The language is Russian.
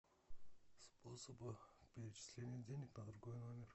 способы перечисления денег на другой номер